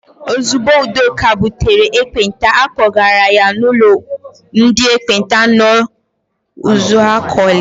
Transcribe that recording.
Ozigbo Udoka butere ekpenta, a kpọgara ya n'ụlọ ndị ekpenta nọ n'Uzuakọlị.